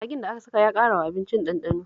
Magin da aka saka ya ƙarawa abincin ɗanɗano